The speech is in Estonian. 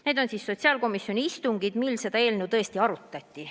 Need on sotsiaalkomisjoni istungid, mil seda eelnõu arutati.